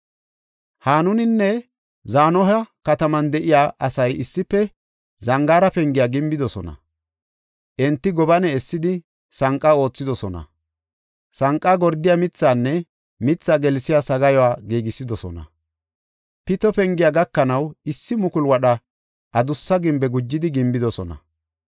Hanuninne Zanoha kataman de7iya asay issife Zangaara Pengiya gimbidosona. Enti gobane essidi, sanqa aathidosona; sanqa gordiya mithaanne mithaa gelsiya sagaayuwa giigisidosona. Pito Pengiya gakanaw issi mukulu wadha adussa gimbiya gujidi gimbidosona.